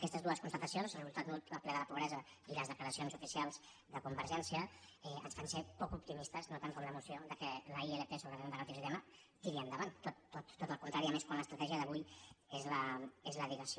aquestes dues constatacions el resultat nul del ple de la pobresa i les declaracions oficials de convergència ens fan ser poc optimistes no tant com la moció que la ilp sobre renda garantida ciutadana tiri endavant tot el contrari i més quan l’estratègia d’avui és la dilació